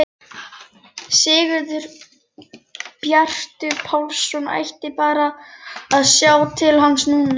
Sigurbjartur Pálsson ætti bara að sjá til hans núna!